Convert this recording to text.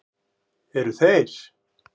Eru þeir